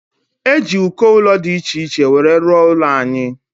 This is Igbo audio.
Eji ụdị uko ụlọ dị iche iche wee rụo ụlọ anyị.